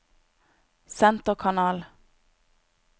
senterkanal